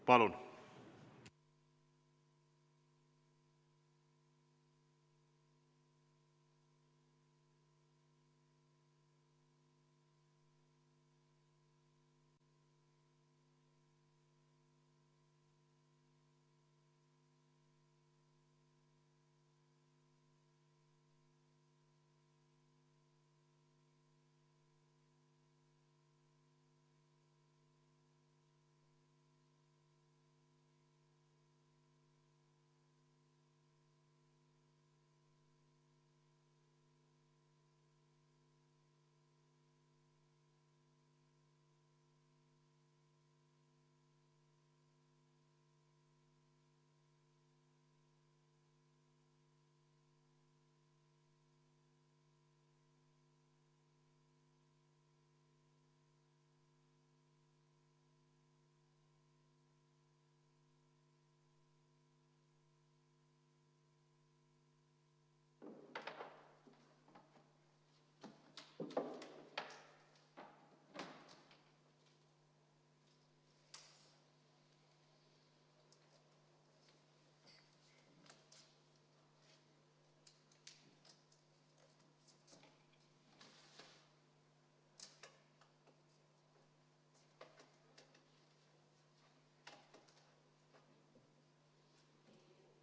Palun!